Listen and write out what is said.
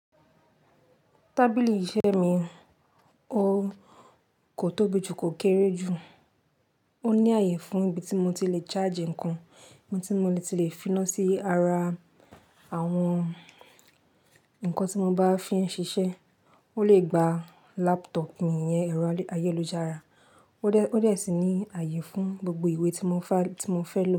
Tábìlì iṣẹ́ mi, o kò tóbi jù kò kéré jù. Ó ní ààyè fún ibi tí mo ti le charge ǹkan, ibi tí mo ti le fi iná sí ara àwọn nǹkan tí mo bá fi ń ṣiṣẹ́. Ó lè gba laptop mi, ẹ̀rọ ayélujára. Ó dé, ó dé sí ní ààyè fún gbogbo ìwé tí mo fẹ́, tí mo fẹ́ lò.